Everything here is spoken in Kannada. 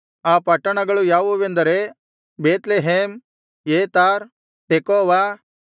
ಆ ಪಟ್ಟಣಗಳು ಯಾವುವೆಂದರೆ ಬೇತ್ಲೆಹೇಮ್ ಏತಾಮ್ ತೆಕೋವ